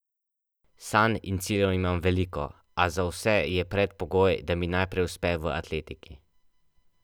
Sanj in ciljev imam veliko, a za vse je predpogoj, da mi najprej uspe v atletiki.